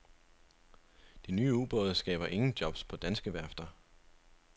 De nye ubåde skaber ingen jobs på danske værfter.